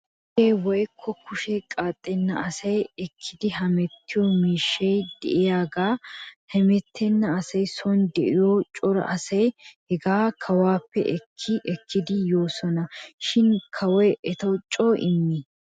Gedee woykko kushee qaaxenna asay ekkidi hemettiyoo miishshay de'iyaagaa hemettena asay son de'iyoo cora asay hegaa kawuwaappe ekki ekkidi yoosona shin kawoy etaw coo imii?